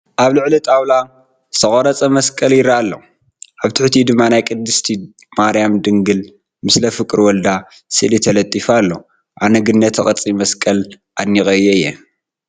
ኣብ ልዕሊ ጣውላ ዝተቐረፀ መስቐል ይርአ ኣሎ፡፡ ኣብ ትሕቲኡ ድማ ናይ ቅድስት ማርያም ድንግል ምስለ ፍቁር ወልዳ ስእሊ ተለጢፉ ኣሎ፡፡ ኣነ ግን ነቲ ቅርፂ መስቀል ኣድኒቐዮ እየ፡፡